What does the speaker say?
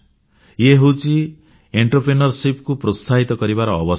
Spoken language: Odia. ଇଏ ହେଉଛି ଉଦଯୋଗକୁ ପ୍ରୋତ୍ସାହିତ କରିବାର ଅବସର